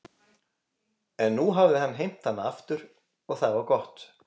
En nú hafði hann heimt hana aftur og það var gott.